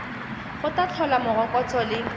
go tla tlhola morokotso le